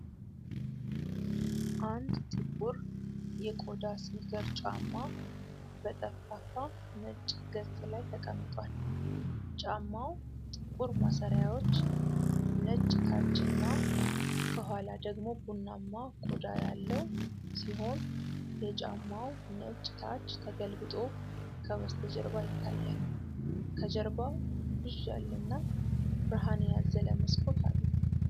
አንድ ጥቁር የቆዳ ስኒከር ጫማ በጠፍጣፋ ነጭ ገጽ ላይ ተቀምጧል። ጫማው ጥቁር ማሰሪያዎች፣ ነጭ ታች እና ከኋላ ደግሞ ቡናማ ቆዳ ያለው ሲሆን፣ የጫማው ነጭ ታች ተገልብጦ ከበስተጀርባ ይታያል። ከጀርባው ብዥ ያለና ብርሃን ያዘለ መስኮት አለ።